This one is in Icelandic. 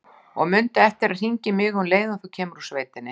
Og mundu eftir að hringja í mig um leið og þú kemur úr sveitinni.